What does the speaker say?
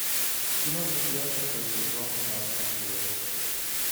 кино друзья шестой сезон шестнадцатый эпизод